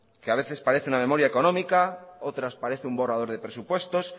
que a veces parece una memoria económica otras parece un borrador de presupuestos